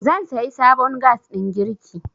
zan sayi sabon gas ɗin girki